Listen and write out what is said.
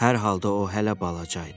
Hər halda o hələ balaca idi.